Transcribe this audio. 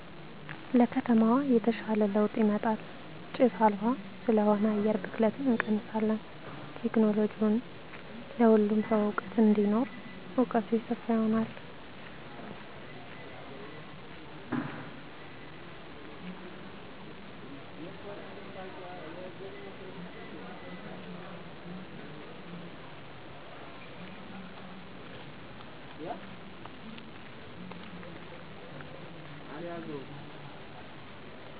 ለከተማዋ የተሻለ ለዉጥ ይመጣል ጭስ አልባ ስለሆነ አየር ብክለትን እንቀንሳለን ቴክኖለሎጅዉን ለሁሉም ሰዉ እዉቀት እንዲኖረዉ እዉቀቱ የሰፋ ይሆናል